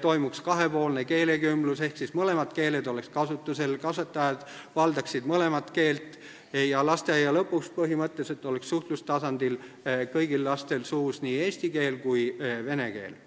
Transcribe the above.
toimuks kahepoolne keelekümblus, mõlemad keeled oleks kasutusel, kasvatajad valdaksid mõlemat keelt ja lasteaia lõpuks oleks kõigil lastel suhtlustasandil suus põhimõtteliselt nii eesti keel kui ka vene keel.